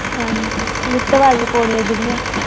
ਹਾਂਜੀ ਲਿਫਟ ਵਾਲੀਆਂ ਪੌੜੀਆਂ ਜਿਹੜੀਆਂ।